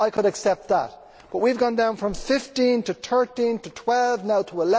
I could accept that, but we have gone down from 15 to 13 to 12, now to